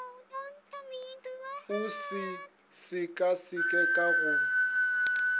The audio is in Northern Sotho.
o se sekaseke ka go